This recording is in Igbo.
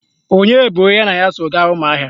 Onye bụ onye ya na ya so gaa Ụmụahịa?